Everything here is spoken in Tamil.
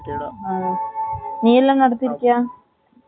நீ எல்லாம் நடத்திருக்கியா